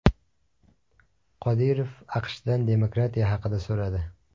Qodirov AQShdan demokratiya haqida so‘radi.